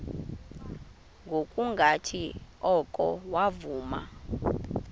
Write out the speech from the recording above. ngokungathi oko wavuma